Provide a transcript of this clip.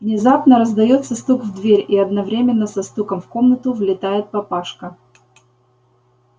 внезапно раздаётся стук в дверь и одновременно со стуком в комнату влетает папашка